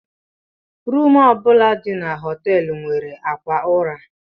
Rumu bụla dị na họtel nwere akwa ụra.